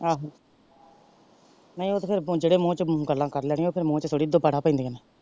ਆਹੋ ਨਹੀਂ ਉਹ ਤੇ ਫੇਰ ਜਿਹੜੇ ਮੂੰਹ ਚੋ ਗੱਲਾਂ ਕਰ ਲੈਣੀਆਂ ਉਹ ਫੇਰ ਮੂੰਹ ਚ ਥੋੜੀ ਨਾ ਦੁਬਾਰਾ ਪਪੈਂਦੀਆਂ ਨੇ।